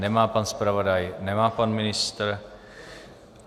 Nemá pan zpravodaj, nemá pan ministr.